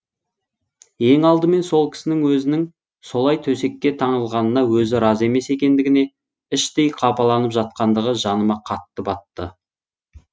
ең алдымен сол кісінің өзінің солай төсекке таңылғанына өзі разы емес екендігіне іштей қапаланып жатқандығы жаныма қатты батты